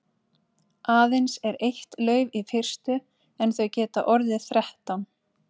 Aðeins er eitt lauf í fyrstu en þau geta orðið þrettán.